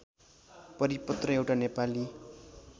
परिपत्र एउटा नेपाली